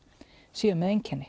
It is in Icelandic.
séu með einkenni